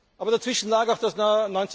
Aber dazwischen lag auch das Jahr